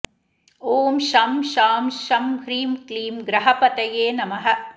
ॐ शं शां षं ह्रीं क्लीं ग्रहपतये नमः